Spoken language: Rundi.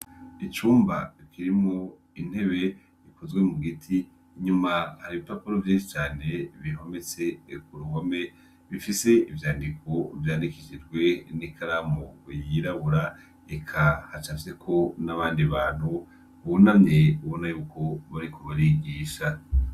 Icumba kirimwo intebe zo mu giti inyuma hari ibipapuro vyinshi cane bihometse ku ruhome bifise ivyandiko vyandikishijwe n'ikaramu yirabura eka hacafyeko n'abandi bantu bunamye ubona yuko bariko barigisha.